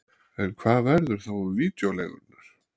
En hvað verður þá um vídeóleigurnar?